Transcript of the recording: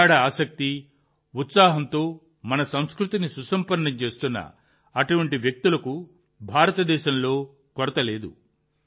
భారతదేశంలో నిరంతరం మన సంస్కృతిని సుసంపన్నం చేస్తున్న ప్రగాఢ ఆసక్తి ఉత్సాహంతో నిండిన అటువంటి వ్యక్తులకు కొరత లేదు